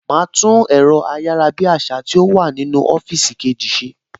Màá tún ẹ̀rọ ayárabíàṣá tó wà nínú ọ́fíìsì kejì ṣe